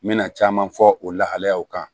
N mɛna caman fɔ o lahalayaw kan